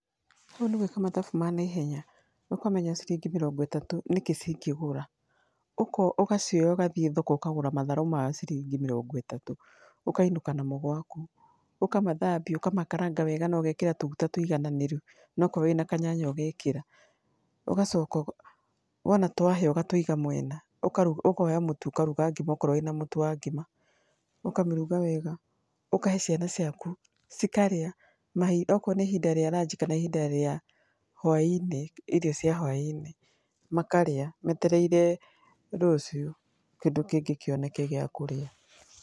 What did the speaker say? Hau nĩ gwĩka mathabu ma naihenya, ũkamenya ciringi mĩrongo ĩtatũ nĩkĩĩ cingĩgũra. Ũgacioya ũgathiĩ thoko ũkagũra matharũ ma ciringi mĩrongo ĩtatũ ũkainũka namo gwaku, ũkamathambia ũkamakaranga wega na ũgekĩra tũmaguta tũigaganĩru, na akorwo wĩna nyanya ũgekĩra. Ũgacoka wona twahĩa ũgatũiga mwena ũkoya mũtu ũkaruga ngima akorwo wĩna mũtu wa ngima. Ũkamĩruga wega, ũkahe ciana ciaku cikarĩa akorwo nĩ ihinda rĩaranji kana ihinda rĩa hwaĩ-inĩ irio cia hwainĩ, makarĩa metereire rũcio kĩndũ kĩngĩ kĩoneke gĩa kũrĩa.